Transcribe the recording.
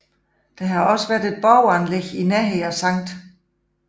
Der har også været borganlæg i nærheden af Skt